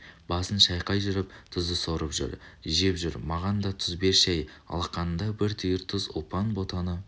басын шайқай жүріп тұзды сорып жүр жеп жүр маған да тұз берші әй алақанында бір түйір тұз ұлпан ботаны